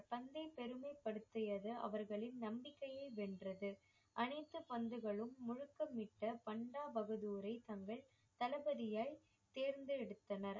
தந்தை பெருமைப்படுத்தியது அவர்களின் நம்பிக்கைய வென்றது அனைத்து பந்துகளும் முழக்கமிட்ட பண்டா பகதூரை தங்கள் தளபதியாய் தேர்ந்தெடுத்தனர்